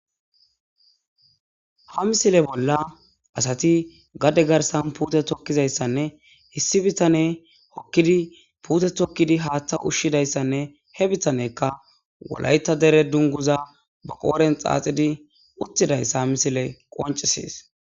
Ha missile bolla assatti gade garssan putte tokizayssanne issi bittaney hokiidi putte tokidi haththa ushizayssanne he bittanezikka wolayththa dere dunguza ba qodhdhen xaxiidi uttidayssa ha missiley qoncisees